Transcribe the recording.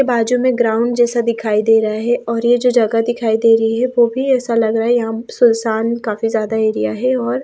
बाजू में ग्राउंड जैसा दिखाई दे रहा है और ये जो जगह दिखाई दे रही है वो भी ऐसा लग रहा है यहां सुनसान काफी ज्यादा एरिया है और--